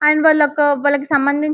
and వాళ్లకి వాళ్లకు సంబంధించి --